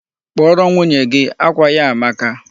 Kpọrọ m nwunye gị! Akwa ya a amaka.